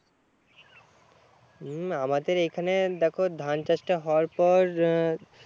হম আমাদের এখানে দেখো ধান চাষ টা হওয়ার পর হম